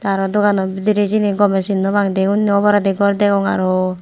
aro dogano bidire siyeni gome sin no pang de obolandi gor degong aro.